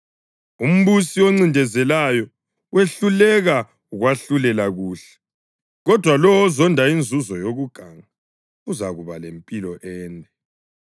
Umbusi oncindezelayo wehluleka ukwahlulela kuhle, kodwa lowo ozonda inzuzo yokuganga uzakuba lempilo ende.